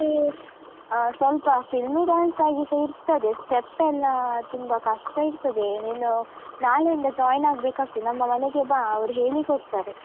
ನೀ ಅಹ್ ಸ್ವಲ್ಪ film dance ಹಾಗೆಸ ಇರ್ತದೆ. step ಎಲ್ಲ ತುಂಬ ಕಷ್ಟ ಇರ್ತದೆ. ನೀನು, ನಾಳೆಯಿಂದ join ಆಗ್ಬೇಕಾಗ್ತದೆ. ನಮ್ಮ ಮನೆಗೆ ಬಾ, ಅವ್ರು ಹೇಳಿಕೊಡ್ತಾರೆ.